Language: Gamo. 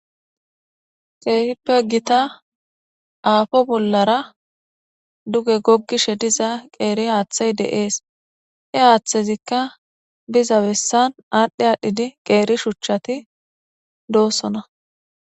Keehippe gitta ago bollara dugge gogishshe diza qeeri haththa de'es. He haththezikka diza bessan adhdhi adhdhidi qeeri shuuchchatti de'ossona.